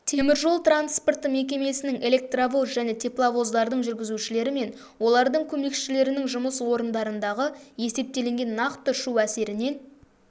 теміржол транспорты мекемесінің электровоз және тепловоздардың жүргізушілері мен олардың көмекшілерінің жұмыс орындарындағы есептелінген нақты шу әсерінен